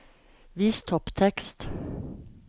Vis topptekst